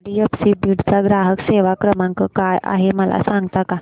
HDFC Beed चा ग्राहक सेवा क्रमांक काय आहे मला सांगता का